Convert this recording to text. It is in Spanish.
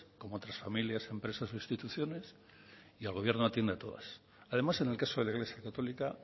como otras familias empresas o instituciones y el gobierno atiende a todas además en el caso de la iglesia católica